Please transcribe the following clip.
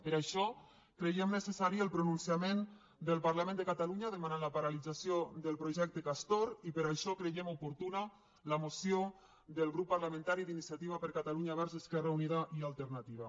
per això creiem necessari el pronunciament del parlament de catalunya demanant la paralització del projecte castor i per això creiem oportuna la moció del grup parlamentari d’iniciativa per catalunya verds esquerra unida i alternativa